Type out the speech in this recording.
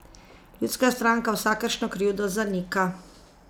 Ljudska stranka vsakršno krivdo zanika.